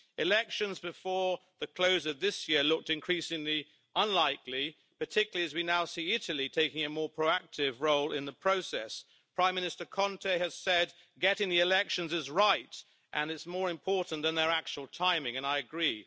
Elections before the close of this year looked increasingly unlikely, particularly as we now see Italy taking a more proactive role in the process. Prime Minister Conte has said getting the elections is right and is more important than their actual timing, and I agree.